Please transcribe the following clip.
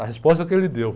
A resposta que ele deu.